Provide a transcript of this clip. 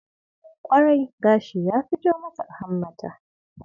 Kwarai! Gashi ya fito mata a hammata.